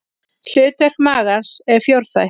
Hlutverk magans er fjórþætt.